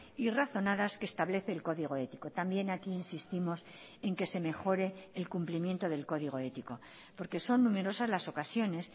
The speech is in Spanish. y razonadas que establece el código ético también aquí insistimos en que se mejore el cumplimiento del código ético porque son numerosas las ocasiones